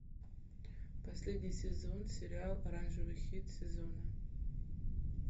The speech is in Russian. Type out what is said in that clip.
последний сезон сериал оранжевый хит сезона